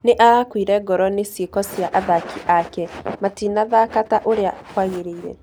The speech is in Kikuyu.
Nĩ arakuire ngoro nĩ cĩeko cia athaki akĩ, matinathaka ta ũrĩa kwagĩrĩire.